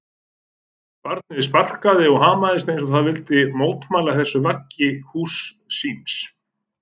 Barnið sparkar og hamast eins og það vilji mótmæla þessu vaggi húss síns.